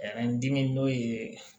dimi n'o ye